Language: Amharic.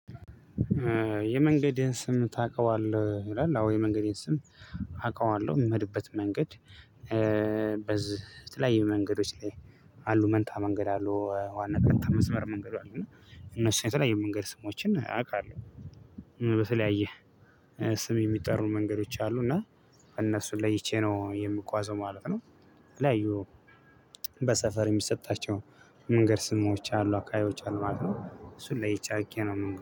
የመንገድህን ስም ታውቀዋለህ ይላል? አዎ የመንገዴን ስም አውቀዋለሁ የምሄድበት መንገድ። በዚህ የተለያየ መንገዶች ላይ አሉ መንታ መንገድ አሉ ዋና ቀጥታ መስመር መንገዱ አሉ እና እነሱ የተለያየ መንገድ ስሞችን አውቃለሁ። በተለያየ ስም የሚጠሩ መንገዶች አሉ እና እነሱን ለይቼ ነው የምጓዘው ማለት ነው። የተለያዩ በሰፈር የሚሰጣቸው መንገድ ስሞች አሉ አካባቢዎች አሉ ማለት ነው። እሱ ለይቼ አውቄ ነው